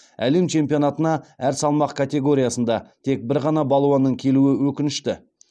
әлем чемпионатына әр салмақ категориясында тек бір ғана балуанның келуі өкінішті